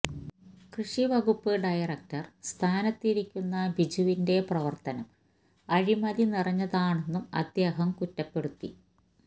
കൃഷിവകുപ്പ് ഡയറക്ടര് സ്ഥാനത്തിരിക്കുന്ന ബിജുവിന്റെ പ്രവര്ത്തനം അഴിമതി നിറഞ്ഞതാണെന്നും അദ്ദേഹം കുറ്റപ്പെടുത്തി